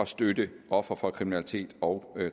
støtte ofre for kriminalitet og